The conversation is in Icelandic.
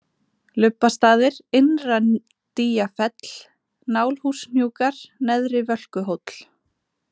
Lubbastaðir, Innra-Dýjafell, Nálhúshnjúkar, Neðri-Völkuhóll